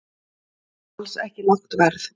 Alls ekki lágt verð